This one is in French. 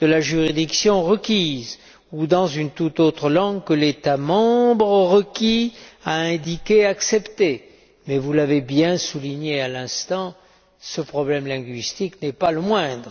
de la juridiction requise, ou dans toute autre langue que l'État membre requis a indiqué accepter, mais, vous l'avez bien souligné à l'instant, ce problème linguistique n'est pas le moindre.